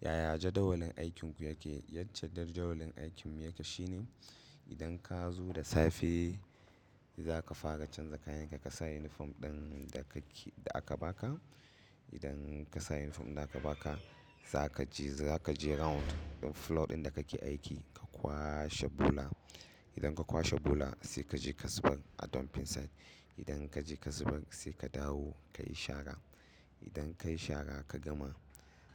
Yaya jadawalin aikinku yake? Yace jadawalin aikinmu yake shine idan ka zo da safe za ka fara canza kayan ka, ka sa uniform ɗin da ka ke da aka baka. Idan ka sa uniform din da aka baka za ka je za ka je round ɗin floor ɗin da ka ke aiki ka kwashe bula. Idan ka kwashe bula sai ka je ka zubar a dump site. Idan ka je ka zubar sai ka dawo ka yi shara. Idan ka yi shara ka gama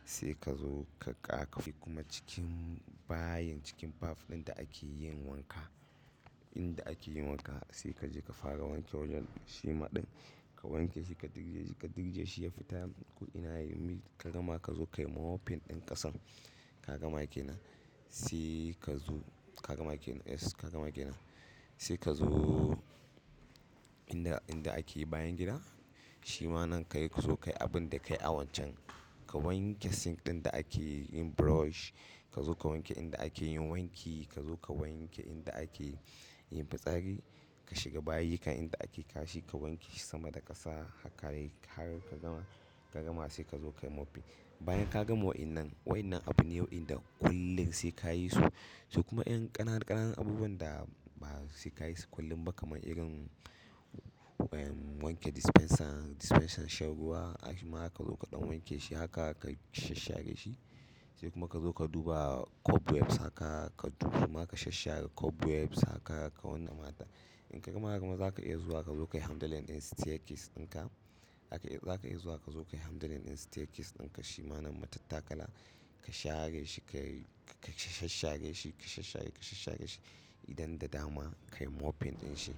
sai ka zo ka ƙa bi kuma cikin bayin cikin baf ɗin da ake yin wanka. Inda ake yin wanka sai ka je ka fara wanke wajen shima ɗin. Ka wanke shi ka durje shi ka durje shi ya fita ko ina yayi ka gama ka zo ka yi mopping ɗin ƙasar. Ka gama kenan sai ka zo ka gama kenan yes ka gama kenan sai ka zo inda inda ake yin bayan gida. Shima nan ka yi ka zo ka yi abin da ka yi a wancan. Ka wanke sink ɗin da ake yin brush. Ka zo ka wanke inda ake yin wanki. Ka zo ka wanke inda ake yin fitsari. Ka shiga bayiyukan inda ake kashi ka wanke shi sama da ƙasa harka har ka gama in ka gama sai ka zo ka yi mopping. Bayan ka gama wa'innan wa'innan abune wa'in da kullum sai ka yi su. To kuma 'yan ƙananan ƙananan abubuwan da ba sai ka yi su kullum ba kamar irin wanke dispenser dispenser shan ruwa. Har shima ma zaka zo kaɗan wanke shi haka ka shashshare shi. Sai kuma ka zo ka duba cobwebs haka ka duba ma ka shashshare cobwebs haka ka wanda mata. In ka gama kuma za ka iya zuwa ka zo ka yi handelling ɗin staircase ɗinka. Haka za ka iya zuwa ka zo ka yi handelling ɗin staircase ɗinka. Shi ma nan matattakala ka share shi ka shashshare shi ka shashshare ka shashshare shi. Idan da dama ka yi mopping ɗin shi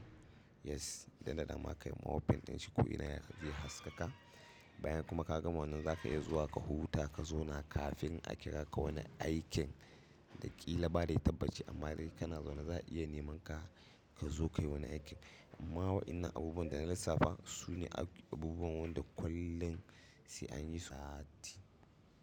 yes idan da dama ka yi mopping ɗin shi ko ina ya zai haskaka. Bayan kuma ka gama wannan za ka iya zuwa ka huta ka zauna kafin a kira ka wani aikin ɗa kila ba dai tabbaci amma dai kana zaune za a iya neman ka ka zo ka yi wani aikin. Amma wa'innan abubuwan da na lissafa su ne abubuwan wanda kullum sai an yi su a sati.